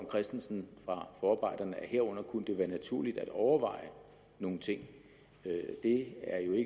christensen fra forarbejderne at herunder kunne det være naturligt at overveje nogle ting det er jo i